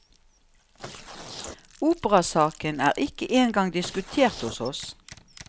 Operasaken er ikke engang diskutert hos oss.